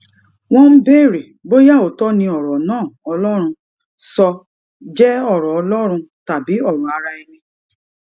wón ń béèrè bóyá òótó ni òrò náà ọlórun sọ jé òrò ọlórun tàbí òrò ara ẹni